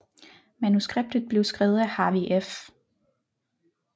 Manuskriptet blev skrevet af Harvey F